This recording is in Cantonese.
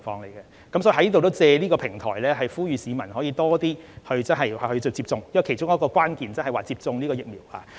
所以，我亦想藉此平台呼籲多些市民接種疫苗，因為其中一個抗疫關鍵就是要接種疫苗。